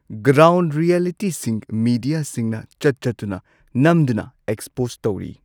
Ground ꯔꯤꯑꯦꯂꯤꯇꯤꯁꯤꯡ ꯃꯦꯗꯤꯌꯥꯁꯤꯡꯅ ꯆꯠ ꯆꯠꯇꯨꯅ ꯅꯝꯗꯨꯅ ꯑꯦꯛꯁꯄꯣꯁ ꯇꯧꯔꯤ꯫